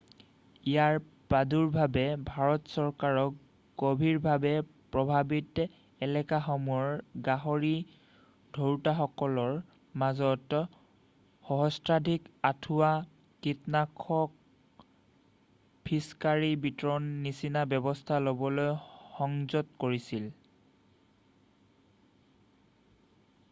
ইয়াৰ প্ৰাদুৰ্ভাৱে ভাৰত চৰকাৰক গম্ভীৰভাৱে প্ৰভাৱিত এলেকাসমূহৰ গাহৰি ধৰোতাসকলকৰ মাজত সহস্ৰাধিক আঁঠুৱা কীটনাশকৰ ফিছকাৰী বিতৰণৰ নিচিনা ব্যৱস্থা লবলৈ সংযত কৰিছিল